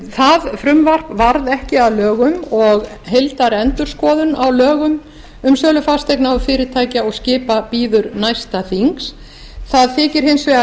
það frumvarp varð ekki að lögum og heildarendurskoðun á lögum um sölu fasteigna fyrirtækja og skipa bíður næsta þings það þykir hins vegar